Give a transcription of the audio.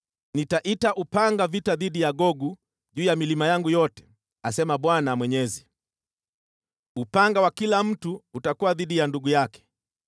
Nitaita upanga vita dhidi ya Gogu juu ya milima yangu yote, asema Bwana Mwenyezi. Upanga wa kila mtu utakuwa dhidi ya ndugu yake.